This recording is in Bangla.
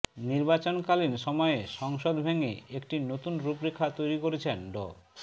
নির্বাচনকালীন সময়ে সংসদ ভেঙে একটি নতুন রূপরেখা তৈরি করেছেন ড